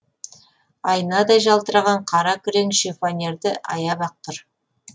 айнадай жалтыраған қара күрең шифонерді аяп ақ тұр